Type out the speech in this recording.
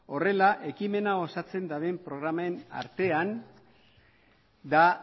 horrela ekimena osatzen duten programen artean da